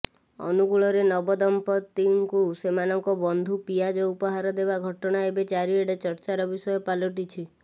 ଅନୁଗୁଳରେ ନବଦମ୍ପତିଙ୍କୁ ସେମାନଙ୍କ ବନ୍ଧୁ ପିଆଜ ଉପହାର ଦେବା ଘଟଣା ଏବେ ଚାରିଆଡେ ଚର୍ଚ୍ଚାର ବିଷୟ ପାଲଟିଛି